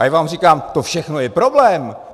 A já vám říkám, to všechno je problém.